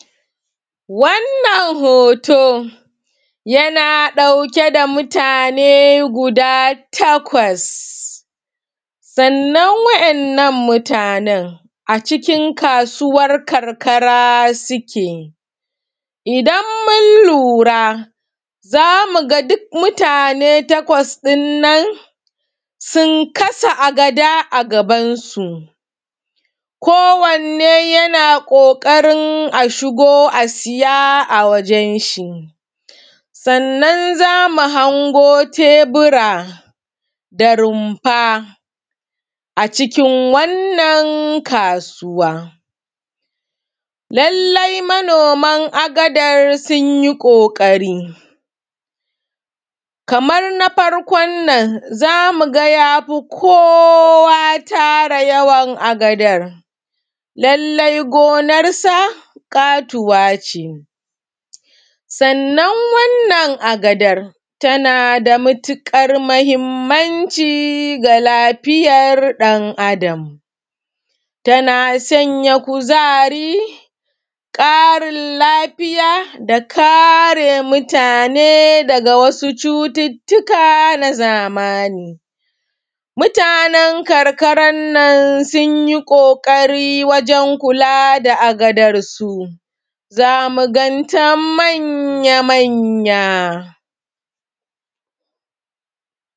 Wannan hoto yana ɗauke da mutane guda takwas, sannan wa yannan mutanen a cikin kasuwar karkara suke idan mun lura za mu ga duk mutane takwas ɗin nan sun kasa agada a bagansu kowanne yana ƙoƙarin a shigo a siya a wajen shi. Sannan za mu hango tebura da rumfa a cikin wannan kasuwa. Lallai manoman agadar sun yi ƙoƙari kamar na farkon nan za mu ga ya fi kowa tara yawan agadar lallai gonarsa ƙatuwa ce sannan wannan agadar tana da matukar muhimmanci ga lafiyar ɗan adam, tana sanya kuzari, ƙarin lafiya da kare mutune daga wasu cututtukan zamani. Mutanen karkaran nan sun yi ƙoƙari wajen kula da agadarsu za mu ganta manya-manyan.